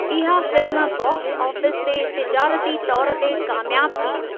इहा film box office ते तिजारती तौर ते कामयाबु थी।